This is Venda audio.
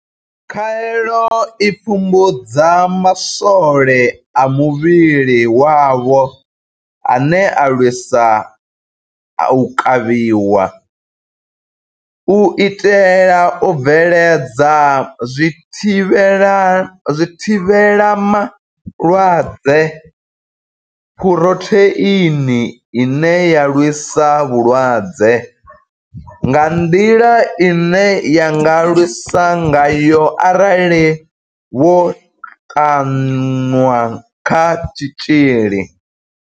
Khaelo i pfumbudza maswole a muvhili wavho ane a lwisa u kavhiwa, u itela u bveledza zwithivhelama malwadze Phurotheini ine ya lwisa vhulwadze, nga nḓila ine ya nga lwisa ngayo arali vho ṱanwa kha tshitzhili.